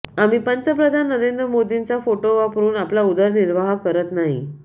आम्ही पंतप्रधान नरेंद्र मोदींचा फोटो वापरून आपला उदरनिर्वाह करत नाही